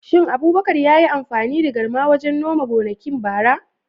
Shin Abubakar yayi amfani da garma wajen noma gonakin bara?